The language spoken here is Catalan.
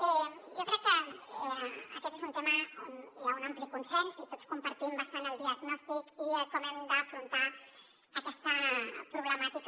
jo crec que aquest és un tema on hi ha un ampli consens i tots compartim bastant el diagnòstic i com hem d’afrontar aquesta problemàtica